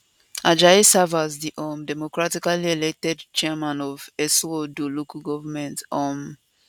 ajayi serve as di um democratically elected chairman of eseodo local goment um